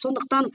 сондықтан